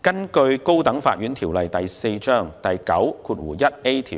根據《高等法院條例》第9條及